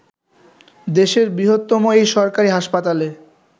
দেশের বৃহত্তম এই সরকারি হাসপাতালে